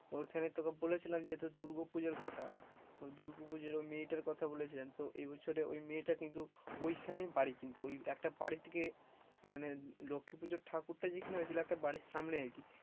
ওখানে তোকে বলেছিলাম যে দুর্গো পুজোর কথা, তো দুর্গাপূজার ওই মেয়েটার কথা বলেছিলাম তো এ বছর ওই মেয়েটা কিন্তু ওইখানে বাড়ি কিন্তু একটা বাড়ি থেকে মানে লক্ষ্মী পুজোর ঠাকুর টা যেখানে হয়েছিল একটা বাড়ির সামনেই আরকি,